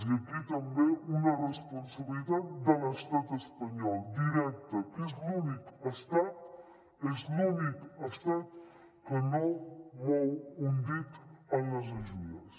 i aquí també una responsabilitat de l’estat espanyol directa que és l’únic estat és l’únic estat que no mou un dit en les ajudes